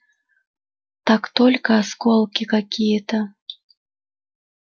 так только осколки какие-то